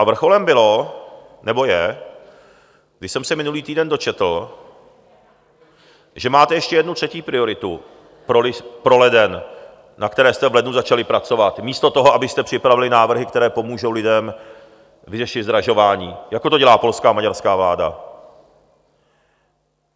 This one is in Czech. A vrcholem bylo, nebo je, když jsem se minulý týden dočetl, že máte ještě jednu, třetí prioritu pro leden, na které jste v lednu začali pracovat místo toho, abyste připravili návrhy, které pomůžou lidem vyřešit zdražování, jako to dělá polská a maďarská vláda.